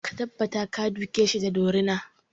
Ka tabbata ka duke shi da dorina!